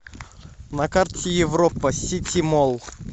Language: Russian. на карте европа сити молл